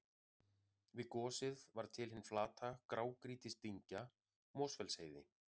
Við gosið varð til hin flata grágrýtisdyngja Mosfellsheiði.